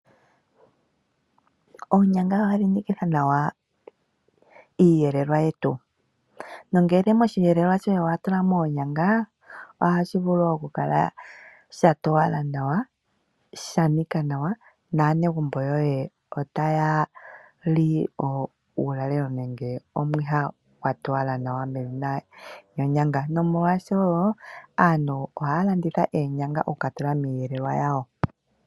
Oonyanga oha dhi nikitha nawa iiyelelwa yetu, nongele moshi yelelwa shoye wa tula mo oonyanga, ohashi vulu oku kala sha towala nawa, sha nika nawa, naanegumbo yoye ota ya li uulalelo nenge omwiha gwa towala nawa medhina lyonyanga, nomolwashoka aantu oha ya landitha oonyanga oku ka tula miiyelelwa yawo.